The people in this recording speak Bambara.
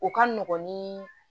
O ka nɔgɔn ni